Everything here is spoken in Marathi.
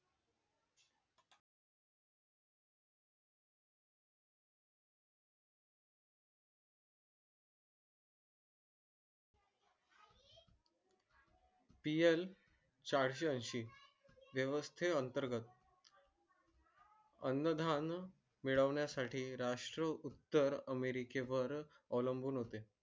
चारशे वर्षी वेवस्ते अंतर्गत अनधान मिळवण्या साठी राष्ट्र उत्तर अमेरिकेवर अवलंबून होते